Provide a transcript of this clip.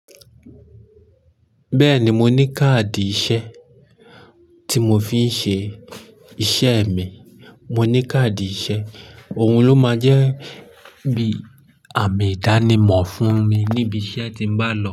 Bẹ́ẹ̀ni, mo ní káàdì ìṣe tí mo fi ń ṣe iṣẹ́ mi. Mo ní káàdì iṣẹ́, òhun ló máa jẹ́ bí àmì ìdánimọ̀ fún mi níbi iṣẹ́ tí n má n lọ.